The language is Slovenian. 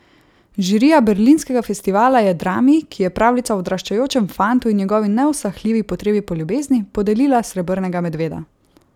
Žirija Berlinskega festivala je drami, ki je pravljica o odraščajočem fantu in njegovi neusahljivi potrebi po ljubezni, podelila srebrnega medveda.